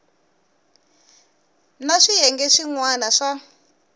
na swiyenge swin wana swa